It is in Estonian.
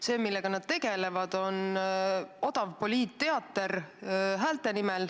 See, millega nad tegelevad, on odav poliitteater häälte nimel.